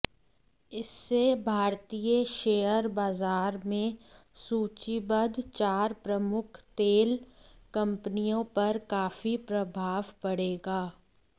इससे भारतीय शेयर बाजार में सूचीबद्ध चार प्रमुख तेल कंपनियों पर काफी प्रभाव पड़ेगा